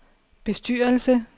bestyrelse